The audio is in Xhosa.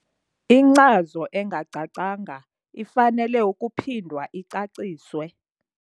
Inkcazo engacacanga ifanele ukuphindwa icaciswe.